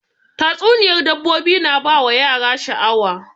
Tatsuniyar dabbobi na ba yara sha'awa